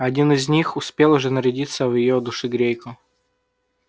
один из них успел уже нарядиться в её душегрейку